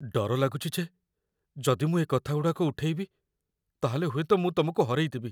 ଡର ଲାଗୁଚି ଯେ ଯଦି ମୁଁ ଏ କଥାଗୁଡ଼ାକ ଉଠେଇବି, ତା'ହେଲେ ହୁଏତ ମୁଁ ତମକୁ ହରେଇଦେବି ।